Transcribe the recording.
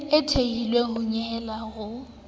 e thehilweng ho nyehelo ho